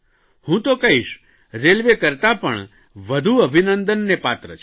હું તો કહીશ રેલવે કરતાં પણ વધુ અભિનંદનને પાત્ર છે